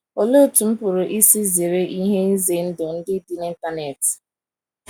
"Olee otú m pụrụ isi zere ihe ize ndụ ndị dị n’Internet?"